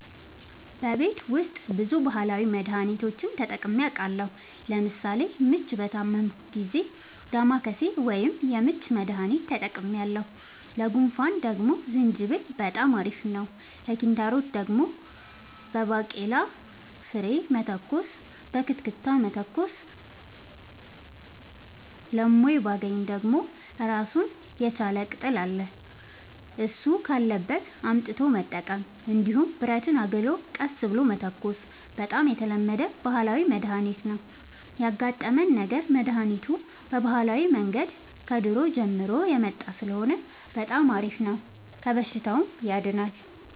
በቤት ውስጥ ብዙ ባህላዊ መድሀኒቶችን ተጠቅሜ አውቃለሁ ለምሳሌ ምች በታመምሁ ጊዜ ዳማከሴ ወይም የምች መድሀኒት ተጠቅሜያለሁ ለጉንፋን ደግሞ ዝንጅብል በጣም አሪፍ ነው ለኪንታሮት ደግሞ በባቄላ ፍሬ መተኮስ በክትክታ መተኮስ ለሞይባገኝ ደግሞ እራሱን የቻለ ቅጠል አለ እሱ ካለበት አምጥቶ መጠቀም እንዲሁም ብረትን አግሎ ቀስ ብሎ መተኮስ በጣም የተለመደ ባህላዊ መድሀኒት ነው ያጋጠመን ነገር መድሀኒቱ በባህላዊ መንገድ ከድሮ ጀምሮ የመጣ ስለሆነ በጣም አሪፍ ነው ከበሽታውም ያድናል።